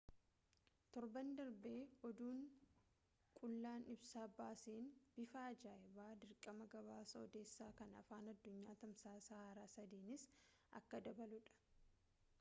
torban darbe oduun qullaan ibsa baaseen bifa ajaayibaan dirqama gabaasa oduusaa kan afaan addunyaa tamsaasa haaraa sadii'n akka dabaluudha